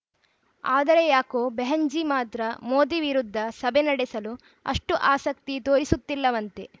ಆದರೆ ಯಾಕೋ ಬೆಹೆನ್‌ಜೀ ಮಾತ್ರ ಮೋದಿ ವಿರುದ್ಧ ಸಭೆ ನಡೆಸಲು ಅಷ್ಟುಆಸಕ್ತಿ ತೋರಿಸುತ್ತಿಲ್ಲವಂತೆ